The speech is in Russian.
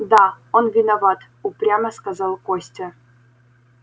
да он виноват упрямо сказал костя